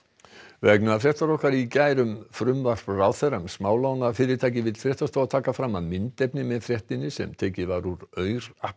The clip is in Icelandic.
vegna fréttar okkar í gær um frumvarp ráðherra um smálánafyrirtæki vill fréttastofa taka fram að myndefni með fréttinni sem tekið var úr aur